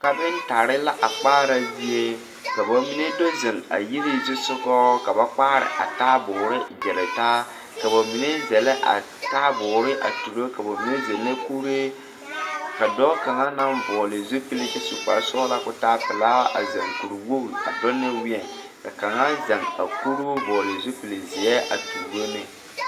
Kapeŋtare la a kpaara zie ka ba mine do zeŋ a yiri zusugɔ ka ba kpaara a taaboore gyiritaa ka ba mine zɛlɛ a taaboore a turo ka ba mine zɛlɛ kuree ka dɔɔ kaŋa naŋ vɔgle zupile kyɛ su kparesɔglaa ko taa pelaa a zeŋ kuriwoge a dɔŋ ne weɛ kaŋa zeŋ a kuruu vɔgle zupilzeɛ a tuuro ne.